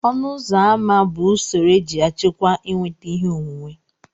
ọnụ ụzọ ámá bụ usoro eji achịkwa ịnweta ihe onwunwe